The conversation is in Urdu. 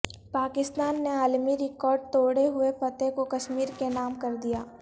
پاکستان نے عالمی ریکارڈ توڑے ہوئے فتح کو کشمیر کے نام کر دیا